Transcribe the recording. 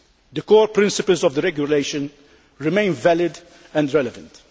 The core principles of the regulation remain valid and relevant.